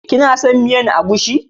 Kina son miyan agushi?